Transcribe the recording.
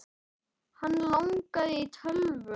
Hann langaði í tölvu.